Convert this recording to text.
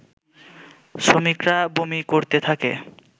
শ্রমিকরা বমি করতে থাকে